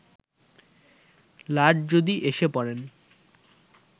লাট যদি এসে পড়েন